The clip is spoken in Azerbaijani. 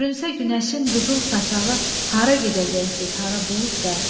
Görünsə günəşin qızıl saçağı, hara gedəcəksiniz, hara buludlar?